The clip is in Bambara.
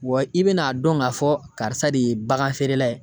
Wa i bɛna dɔn k'a fɔ karisa de ye bagan feerela ye.